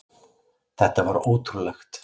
Þetta var ótrúlegt.